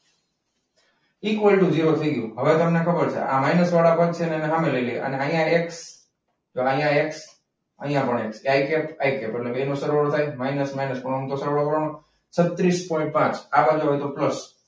equal to zero થઈ ગયું હવે તમને ખબર છે આ માઇનસ વાળા પદ છે અને સામે લઈ લઈએ અને આ એક્સ અહીંયા એક્સ અહીંયા એક્સ અહીંયા પણ એક્સ આઈ ગયું એટલે બે નો સરવાળો થાય માઇનસ માઇનસ ઊંધો સરવાળો કરવાનો છત્રીસ પોઇન્ટ પાંચ આગળ જાવ તો પ્લસ.